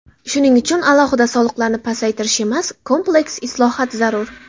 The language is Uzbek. Shuning uchun alohida soliqlarni pasaytirish emas, kompleks islohot zarur.